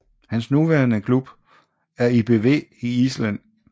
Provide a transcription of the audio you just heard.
Hans nuværende klub er ÍBV i Island